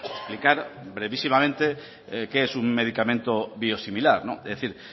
explicar brevísimamente qué es un medicamento biosimilar es decir